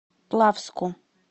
плавску